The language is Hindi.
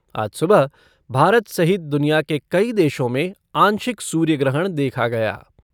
आज सुबह भारत सहित दुनिया के कई देशों में आंशिक सूर्य ग्रहण देखा गया।